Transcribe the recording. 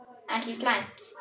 Ekki slæmt.